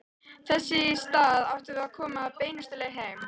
Þess í stað áttum við að koma beinustu leið heim.